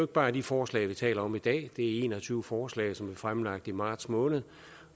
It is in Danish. bare de forslag vi taler om i dag det er en og tyve forslag som er fremlagt i marts måned